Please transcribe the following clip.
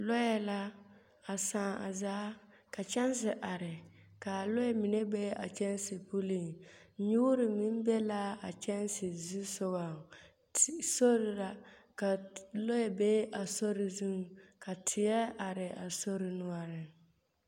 Lɔɛ la a saaŋ a zaa ka kyɛnse are, k'a lɔɛ mine be a kyɛnse puliŋ. Nyoore meŋ be l'a kyɛnse zusogɔŋ. S... sor la ka lɔɛ be a sori zuŋ, ka teɛ are a sor noɔreŋ.